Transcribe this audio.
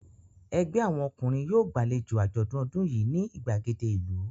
Ẹgbẹ́ àwọn ọkùnrin yóò gbàlejò àjọ̀dún ọdún yìí ní ìgbàgede ìlú.